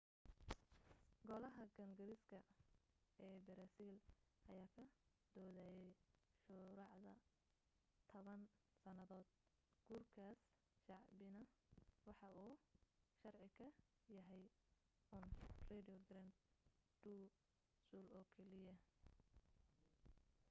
golaha koongareeksa ee baraasiil ayaa ka doodayay shuruucda 10 sannadood guurkaas shacbina waxa uu sharci ka yahay uun rio grande do sul oo keliya